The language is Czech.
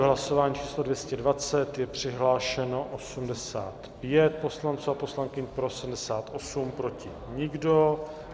V hlasování číslo 220 je přihlášeno 85 poslanců a poslankyň, pro 78, proti nikdo.